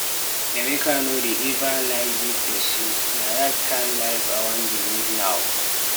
Emeka no dey eva lie give pesin, na dat kind life I wan dey live now.